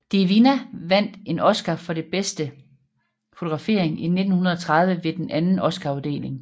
De Vinna vandt en Oscar for bedste fotografering i 1930 ved den anden oscaruddeling